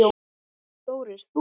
Þorir þú?